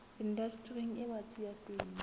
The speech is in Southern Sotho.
indastering e batsi ya temo